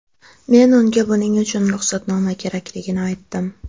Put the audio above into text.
Men unga buning uchun ruxsatnoma kerakligini aytdim.